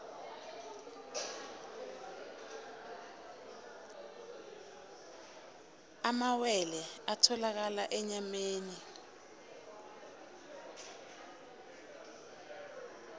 amalwelwe atholakala enyameni